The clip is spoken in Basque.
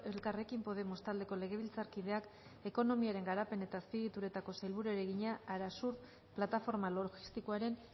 elkarrekin podemos taldeko legebiltzarkideak ekonomiaren garapen eta azpiegituretako sailburuari egina arasur plataforma logistikoaren